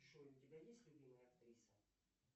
джой у тебя есть любимая актриса